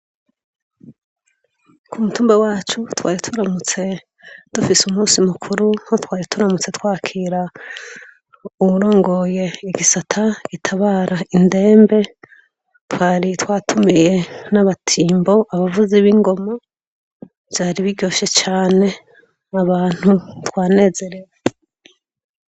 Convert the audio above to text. Ku mutumba wacu ,twari turamutse dufise umunsi mukuru nko twari turamutse twakira uwurongoye igisata gitabara indembe, twari twatumiye n'abatimbo ,abavuzi b'ingoma, vyari biryoshe cane abantu twanezerewe.